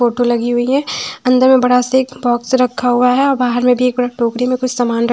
photo लगी हुई है अंदर में बड़ा सा एक बॉक्स रखा हुआ है और बाहर में भी एक बड़ा टोकरी में कुछ समान र--